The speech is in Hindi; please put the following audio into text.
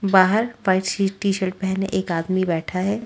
बाहर टी शर्ट पहने एक आदमी बैठा है।